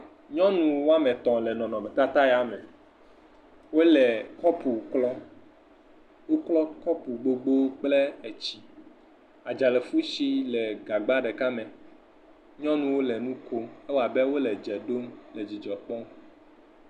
Nyɔnu woame tɔ̃ le nɔnɔmetata ya me. Wole kɔpu klɔm, woklɔ kɔpu gbogbo kple etsi, adzafutsi le gagba ɖeka me, nyɔnuwo le nu kom, ewɔ abe wole dze ɖom le dzidzɔ kpɔm.